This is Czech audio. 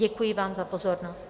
Děkuji vám za pozornost.